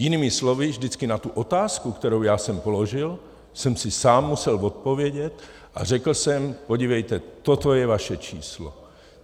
Jinými slovy, vždycky na tu otázku, kterou já jsem položil, jsem si sám musel odpovědět a řekl jsem: Podívejte, toto je vaše číslo.